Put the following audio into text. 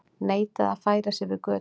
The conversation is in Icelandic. Neitaði að færa sig yfir götu